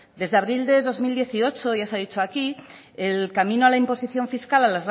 desde abril de dos mil dieciocho ya se ha dicho aquí el camino a la imposición fiscal